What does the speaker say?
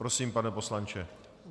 Prosím, pane poslanče.